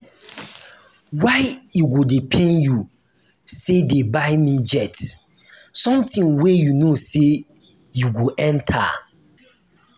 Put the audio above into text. why e go dey pain you say dey buy me jet something wey you no say you go enter